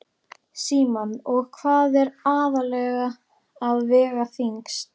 Símon: Og hvað er aðallega að vega þyngst?